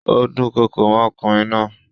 Ó dúnkokò mọ́ ọkùnrin náà.